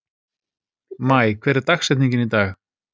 Maj, hver er dagsetningin í dag?